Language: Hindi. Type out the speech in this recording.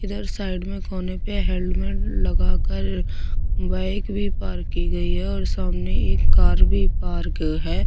इधर साइड में कोन पे हेलमेट लगाकर बाइक भी पार्क की गई है और सामने एक कार भी पार्क है।